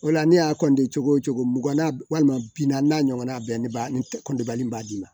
O la ne y'a cogo o cogo mugan na walima bi na n'a ɲɔgɔnna bɛɛ ba ne b'a d'i ma